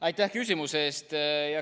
Aitäh küsimuse eest!